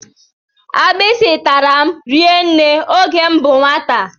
Agbisi tàrà m rinne oge m bú nwata.